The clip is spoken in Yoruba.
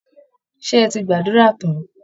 Ṣé ẹ ti gbàdúrà tán?